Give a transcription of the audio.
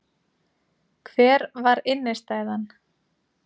Hver var innistæðan?